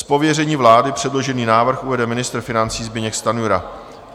Z pověření vlády předložený návrh uvede ministr financí Zbyněk Stanjura.